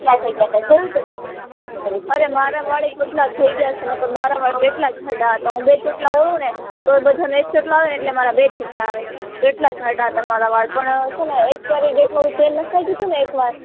અરે મારા વાળ અય પાટલા થઇ ગયા છે નકાર મારા વાળ કેટલા જાડા હતા હું બે ચોટલા ઓદું ને તો બધા ને એક ચોટલો આવે એટલે મારે બે ચોટલા આવે કેટલા જાડા હતા મારા વાળ પણ છે નેએક્સપાયરી ડેટ વાળું તેલ નાખી ગયું હતું ને એક વાર